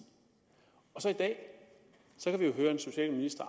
og så i dag høre en socialminister